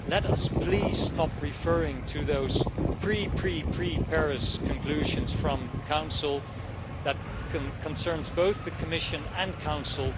Let us please stop referring to those pre, pre, pre Paris conclusions from Council and that applies to both the Commission and the Council.